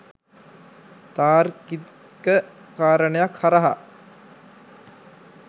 තාර්කික කාරණයක් හරහා